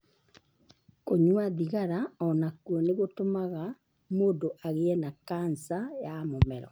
Kũnyua thigara o nakuo nĩ gũtũmaga mũndũ agĩe na kanca ya mũmero.